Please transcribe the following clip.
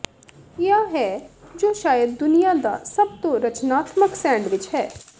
ਿਆ ਹੈ ਜੋ ਸ਼ਾਇਦ ਦੁਨੀਆ ਦਾ ਸਭ ਤੋਂ ਰਚਨਾਤਮਕ ਸੈਂਡਵਿਚ ਹੈ